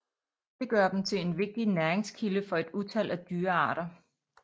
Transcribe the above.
Det gør dem til en vigtig næringskilde for et utal af dyrearter